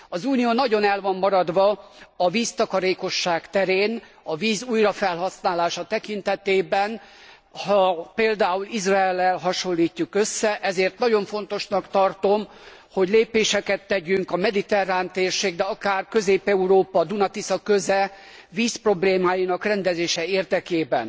Az Unió nagyon el van maradva a víztakarékosság terén, a víz újrafelhasználása tekintetében, ha például Izraellel hasonlítjuk össze, ezért nagyon fontosnak tartom, hogy lépéseket tegyünk a mediterrán térség, de akár Közép Európa, a Duna Tisza köze vízproblémáinak rendezése érdekében.